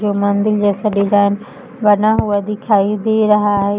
जो मंदिल जैसा डिजाइन बना हुआ दिखाई दे रहा है।